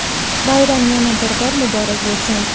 Bayram yana bir bor muborak bo‘lsin!.